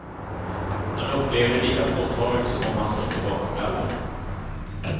Han upplever det lika påtagligt som om han sutte bakom galler.